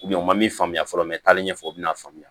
u ma min faamuya fɔlɔ n bɛ taali ɲɛfɔ u bɛna faamuya